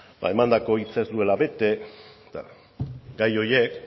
ba emandako hitza ez duela bete eta gai horiek